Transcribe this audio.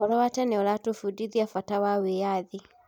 ũhoro wa tene ũratũbundithia wĩgiĩ bata wa wĩyathi.